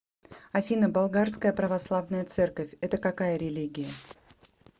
афина болгарская православная церковь это какая религия